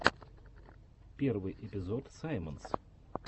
первый эпизод саймонс